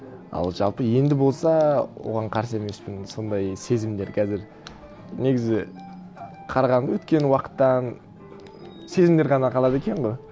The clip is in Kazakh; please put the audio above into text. ал жалпы енді болса оған қарсы емеспін сондай сезімдер қазір негізі қарағанда өткен уақыттан сезімдер ғана қалады екен ғой